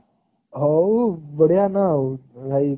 ହଉ ବଢିଆ ନା ଆଉ ଭାଇ